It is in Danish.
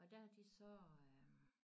Og der har de sø øh